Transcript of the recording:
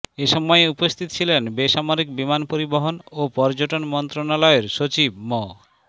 এ সময় উপস্থিত ছিলেন বেসামরিক বিমান পরিবহন ও পর্যটন মন্ত্রণালয়ের সচিব মো